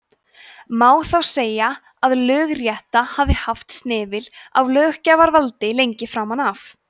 má því segja að lögrétta hafi haft snefil af löggjafarvaldi lengi framan af